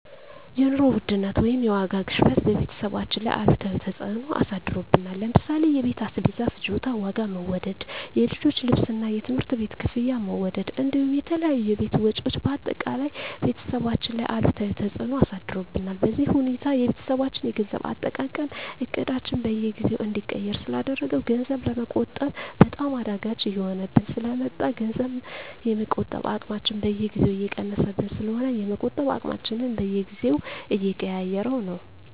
የኑሮ ውድነት ወይም የዋጋ ግሽበት በቤተሰባችን ላይ አሉታዊ ተፅዕኖ አሳድሮብናል ለምሳሌ የቤት አስቤዛ ፍጆታ ዋጋ መወደድ፣ የልጆች ልብስና የትምህርት ቤት ክፍያ መወደድ እንዲሁም የተለያዩ የቤት ወጪዎች በአጠቃላይ ቤተሰባችን ላይ አሉታዊ ተፅዕኖ አሳድሮብናል። በዚህ ሁኔታ የቤተሰባችን የገንዘብ አጠቃቀም እቅዳችንን በየጊዜው እንዲቀየር ስላደረገው ገንዘብ ለመቆጠብ በጣም አዳጋች እየሆነብን ስለ መጣ ገንዘብ የመቆጠብ አቅማችን በየጊዜው እየቀነሰብን ስለሆነ የመቆጠብ አቅማችንን በየጊዜው እየቀያየረው ነው።